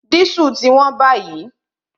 Dísù ti wón báyìí